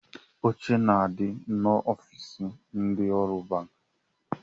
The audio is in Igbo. Oche na-adi n'ofiisi ndị ọrụ banki